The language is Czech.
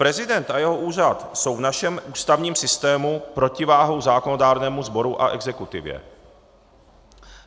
Prezident a jeho úřad jsou v našem ústavním systému protiváhou zákonodárnému sboru a exekutivě.